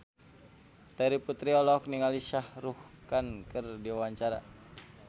Terry Putri olohok ningali Shah Rukh Khan keur diwawancara